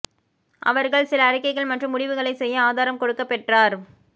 அவர்கள் சில அறிக்கைகள் மற்றும் முடிவுகளை செய்ய ஆதாரம் கொடுக்க பெற்றார்